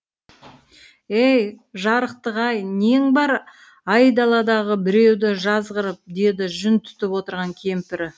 ей жарықтық ай нең бар айдаладағы біреуді жазғырып деді жүн түтіп отырған кемпірі